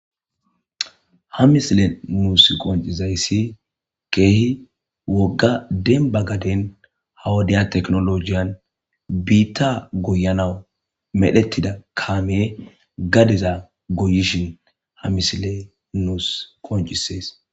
ha misile nuus qoncizayssi keehi wogga demba gaden hawodiya teknolojiyan biitta goyanawu medhetida kaamiye gadeza goyishin ha misile nuus qoncisees